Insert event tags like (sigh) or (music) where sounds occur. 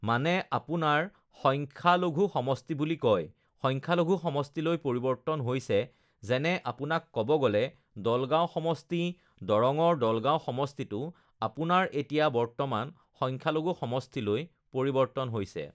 (noise) মানে আপোনাৰ সংখ্যালঘু সমষ্টি বুলি কয় uhh সংখ্যালঘু সমষ্টিলৈ পৰিৱৰ্তন হৈছে যেনে আপোনাক ক'ব গ'লে দলগাঁও সমষ্টি দৰ দৰঙৰ দলগাঁও সমষ্টিটো আপোনাৰ এতিয়া বৰ্তমান সংখ্যালঘু সমষ্টিলৈ পৰিৱৰ্তন হৈছে